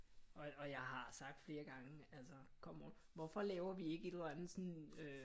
Og jeg har sagt flere gange altså come on hvorfor laver vi ikke et eller andet sådan øh